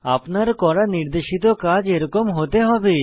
আপনার করা নির্দেশিত কাজ এরকম হতে হবে